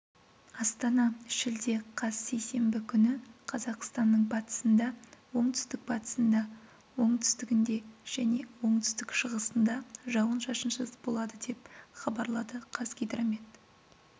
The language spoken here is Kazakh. астана шілде қаз сейсенбі күні қазақстанның батысында оңтүстік-батысында оңтүстігінде және оңтүстік-шығысында жауын-шашынсыз болады деп хабарлады қазгидромет